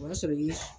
O b'a sɔrɔ i ye